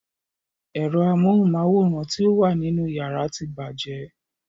Ero amóhunmáwòrán ti o wà nínú yàrá tí bàjẹ́.